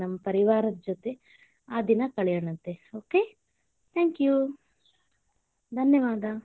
ನಮ್ಮ ಪರಿವಾರದ್ ಜೊತೆ ಆ ದಿನಾ ಕಳಿಯೋನಂತೆ okay, thank you ಧನ್ಯವಾದ.